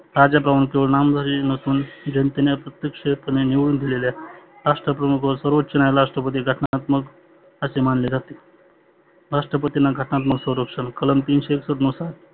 कालच्या प्रमाचे नाम जरी नसुन जनतेने प्रत्यक्ष निवडुन दिलेले असते. राष्ट्रप्रमुख व सर्वोच्च राष्ट्रपती घटनात्मक असे मानले जाते. राष्ट्रपतींना घटनात्मक सौरक्षण कलम तीनशे एकसठ नुसार